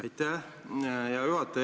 Aitäh, hea juhataja!